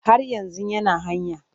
Har yanzu yana hanya.